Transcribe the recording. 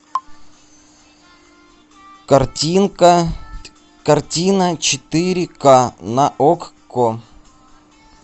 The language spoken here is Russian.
картинка картина четыре ка на окко